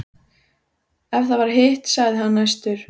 Ef það var hitt, sagði hann æstur